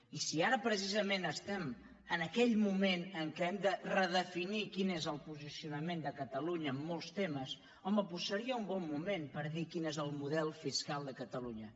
i si ara precisament estem en aquell moment en què hem de redefinir quin és el posicionament de catalunya en molts temes home doncs seria un bon moment per dir quin és el model fiscal de catalunya